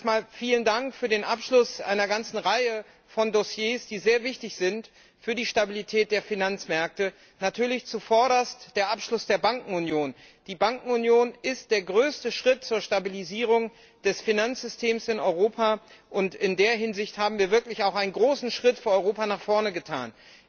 Erst einmal vielen Dank für den Abschluss einer ganzen Reihe von Dossiers, die sehr wichtig sind für die Stabilität der Finanzmärkte, natürlich zu allererst der Abschluss der Bankenunion. Die Bankenunion ist der größte Schritt zur Stabilisierung des Finanzsystems in Europa, und in dieser Hinsicht haben wir wirklich für Europa einen großen Schritt nach vorne getan.